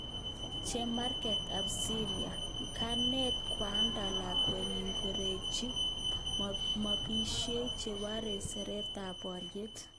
Chemarget ab Syria:kanet kwanda lakwenyin kororechi bomishek chebore seretetab boryet